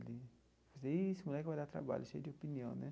Vixe esse moleque vai dar trabalho, cheio de opinião, né?